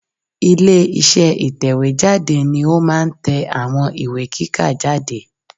Ilé iṣẹ́ ìtẹ̀wé jáde ni ó máa n tẹ àwọn ìwé kíkà jáde